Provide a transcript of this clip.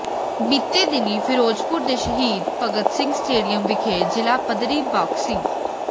ਬੀਤੇ ਦਿਨੀਂ ਿਫ਼ਰੋਜ਼ਪੁਰ ਦੇ ਸ਼ਹੀਦ ਭਗਤ ਸਿੰਘ ਸਟੇਡੀਅਮ ਵਿਖੇ ਜ਼ਿਲ੍ਹਾ ਪੱਧਰੀ ਬਾਕਸਿੰ